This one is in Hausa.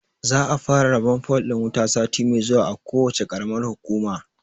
Za a fara rabon fol ɗin wuta sati mai zuwa a kowacce ƙaramar hukuma.